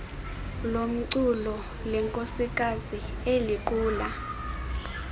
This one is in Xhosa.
lomculo lenkosikazi eliquka